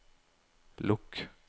lukk